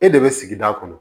E de bɛ sigida kɔnɔ